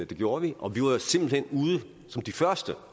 det gjorde vi og vi var jo simpelt hen ude som de første